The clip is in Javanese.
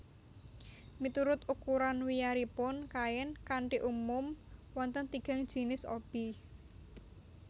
Miturut ukuran wiyaripun kain kanthi umum wonten tigang jinis obi